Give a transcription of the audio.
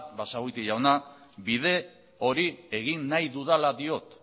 basagoiti jauna bide hori egin nahi dudala diot